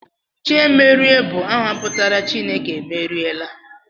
Chiemerie bụ aha pụtara 'Chineke emeriela'